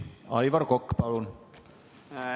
Aivar Kokk, palun!